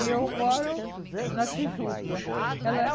E eu moro na Tijuca. Ela